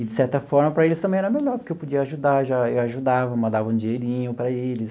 E, de certa forma, para eles também era melhor, porque eu podia ajudar já, eu ajudava, mandava um dinheirinho para eles.